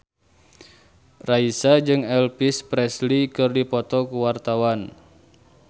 Raisa jeung Elvis Presley keur dipoto ku wartawan